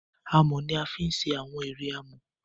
amò ní a fì ṣe Àwọn eré amò.